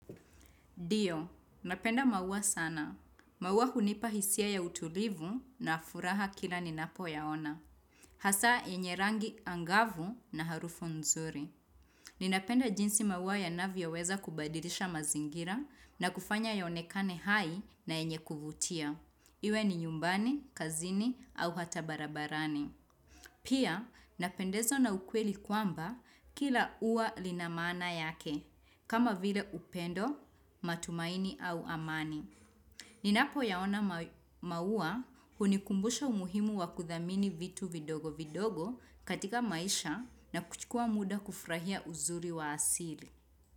Ndio, napenda mauwa sana. Mauwa hunipa hisia ya utulivu na furaha kila ninapoyaona. Hasa yenye rangi angavu na harufu nzuri. Ninapenda jinsi mauwa yanavyoweza kubadilisha mazingira na kufanya yaonekane hai na yenye kuvutia. Iwe ni nyumbani, kazini au hata barabarani. Pia, napendezwa na ukweli kwamba kila uwa lina maana yake. Kama vile upendo, matumaini au amani. Ninapo yaona maua hunikumbusha umuhimu wa kuthamini vitu vidogo vidogo katika maisha na kuchikua muda kufurahia uzuri wa asili.